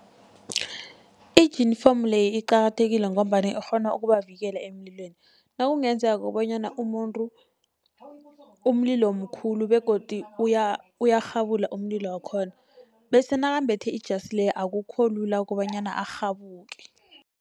Ijinifomu le iqakathekile, ngombana ikghona ukubavikela emlilweni, nakungenzeka bonyana umuntu umlilo mkhulu begodu uyarhabula umlilo wakhona, bese nakambethe ijasi le akukho lula kobanyana arhabuke.